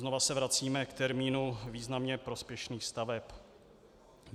Znovu se vracíme k termínu významně prospěšných staveb.